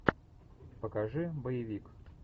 покажи боевик